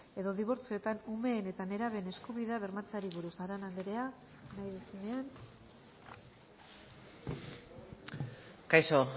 edo dibortzioetan umeen eta nerabeen eskubideak bermatzeari buruz arana anderea nahi duzunean kaixo